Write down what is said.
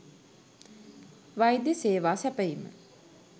වෛද්‍ය සේවා සැපයීම